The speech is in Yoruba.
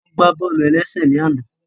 Wọ́n gbá bọ́ọ̀lù-ẹlẹ́sẹ̀ ní àná